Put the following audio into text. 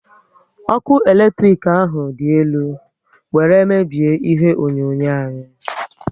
Ọkụ eletrik ahụ dị elu were mebie ihe onyonyo anyi